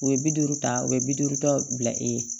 U ye bi duuru ta o ye bi duuru dɔ bila e ye